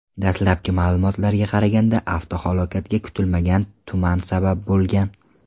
Dastlabki ma’lumotlarga qaraganda, avtohalokatga kutilmagan tuman sabab bo‘lgan.